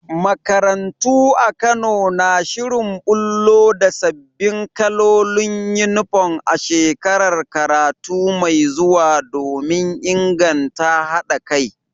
Makarantu a Kano na shirin bullo da sabbin kalolin Uniform a shekarar karatu mai zuwa domin inganta haɗa kai.